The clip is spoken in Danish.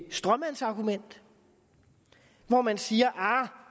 stråmandsargument hvor man siger